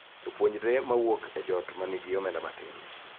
Jopuonjre ma wuok e joot ma nigi omenda matin